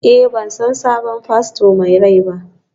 Eh, ban san sabon fasto mai rai ba?